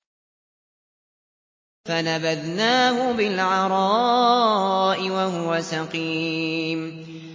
۞ فَنَبَذْنَاهُ بِالْعَرَاءِ وَهُوَ سَقِيمٌ